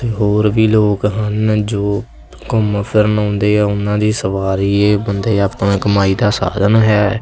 ਤੇ ਹੋਰ ਵੀ ਲੋਕ ਹਨ ਜੋ ਘੁੰਮ ਫਿਰਨ ਆਉਂਦੇ ਆ ਉਹਨਾਂ ਦੀ ਸਵਾਰੀ ਇਹ ਬੰਦੇ ਆਪਾਂ ਕਮਾਈ ਦਾ ਸਾਧਨ ਹੈ।